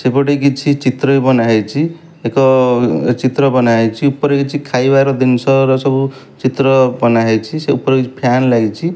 ସେପଟେ କିଛି ଚିତ୍ର ବି ବନାହେଇଚି। ଏକ ଚିତ୍ର ବନାହେଇଚି। ଉପରେ କିଛି ଖାଇବାର ଦିନ୍ଷ ସବୁ ଚିତ୍ର ବନା ହେଇଚି। ସେ ଉପରେ କିଛି ଫ୍ୟନ୍ ଲାଗିଚି।